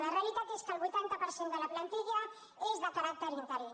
la realitat és que el vuitanta per cent de la plantilla és de caràcter interí